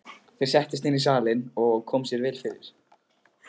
Þeir settust inn í salinn og komu sér vel fyrir.